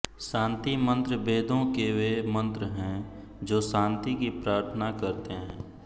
शान्ति मन्त्र वेदों के वे मंत्र हैं जो शान्ति की प्रार्थना करते हैं